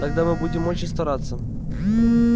тогда мы будем очень стараться